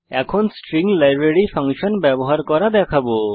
এখন আমরা string library function ব্যবহার করা দেখবো